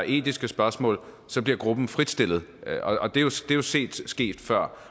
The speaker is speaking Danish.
etiske spørgsmål bliver gruppen fritstillet og det er jo set ske før